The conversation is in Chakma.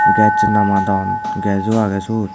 gas lamadon gas uo agey suod.